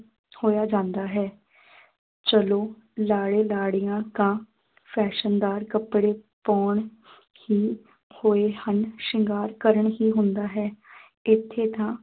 ਹੋਇਆ ਜਾਂਦਾ ਹੈ ਚਲੋ ਲਾੜੇ ਲਾੜੀਆਂ ਤਾਂ ਫੈਸ਼ਨਦਾਰ ਕੱਪੜੇ ਪਾਉਣ ਹੀ ਹੋਏ ਹਨ ਸ਼ਿੰਗਾਰ ਕਰਨ ਹੀ ਹੁੰਦਾ ਹੈ ਇੱਥੇ ਤਾਂ